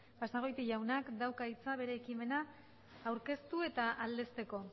basagoiti jaunak dauka hitza bere ekimena aurkeztu eta aldezteko